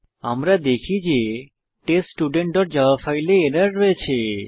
আমরা দেখি যে teststudentজাভা ফাইলে এরর রয়েছে